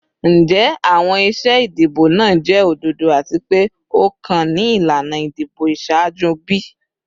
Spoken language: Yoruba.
Njẹ awọn iṣe idibo naa jẹ ododo ati pe o kan ni ilana idibo iṣaaju bi?